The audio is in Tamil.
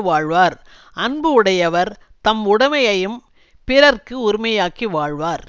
வாழ்வார் அன்பு உடையவர் தம் உடமையும் பிறர்க்கு உரிமையாக்கி வாழ்வர்